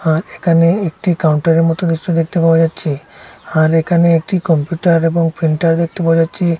আর একানে একটি কাউন্টারের মতো নিশ্চয় দেখতে পাওয়া যাচ্ছে আর এখানে একটি কম্পিউটার এবং প্রিন্টার দেখতে পাওয়া যাচ্ছে।